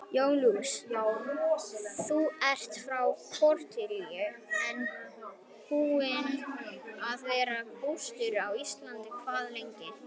Jón Júlíus: Þú ert frá Króatíu en búinn að vera búsettur á Íslandi hvað lengi?